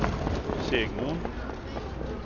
Segmon